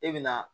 E bɛ na